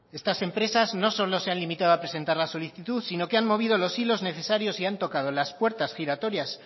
estas empresas no solo se han limitado a presentar la solicitud sino que han movido los hilos necesarios y han tocado las puertas giratorias